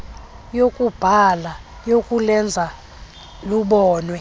yokubhala yokulenza lubonwe